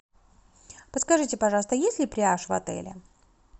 подскажите пожалуйста есть ли пляж в отеле